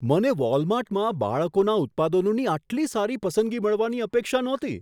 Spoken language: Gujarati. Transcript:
મને વોલમાર્ટમાં બાળકોના ઉત્પાદનોની આટલી સારી પસંદગી મળવાની અપેક્ષા નહોતી.